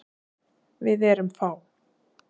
Við erum fá.